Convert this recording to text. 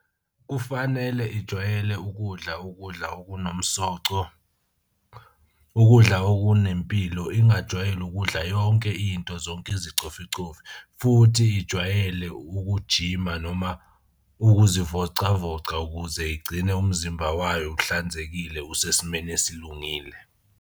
Kufanele ijwayele ukudla ukudla okunomsoco ukudla okunempilo, ingajwayeli ukudla yonke into zonke izicoficofi. Futhi ijwayele ukujima noma ukuzivocavoca ukuze igcine umzimba wayo uhlanzekile usesimeni esilungile.